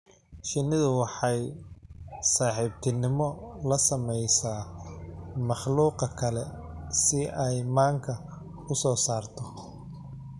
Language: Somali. Shinnidu waxay saaxiibtimo la samaysaa makhluuqa kale si ay manka u soo saarto.